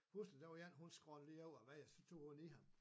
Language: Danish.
Pludselig der var en hun skrollede lige over vejen og så tog hun i ham